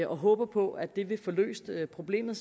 og håber på at det vil få løst problemet